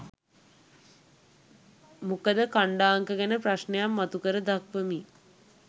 මොකද ඛණ්ඩාංක ගැන ප්‍රශ්නයක් මතු කර දක්වමින්